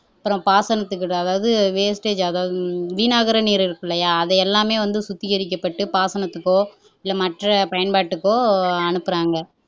அப்புறம் பாசனத்துக்கு அதாவது wastage அதாவது வீணாகிற நீர் இருக்கு இல்லையா அதை எல்லாமே சுத்திகரிக்கப்பட்டு பாசனத்துக்கோ இல்ல மற்ற பயன்பாட்டுக்கோ அனுப்பறாங்க